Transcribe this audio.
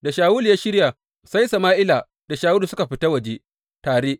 Da Shawulu ya shirya, sai Sama’ila da Shawulu suka fita waje tare.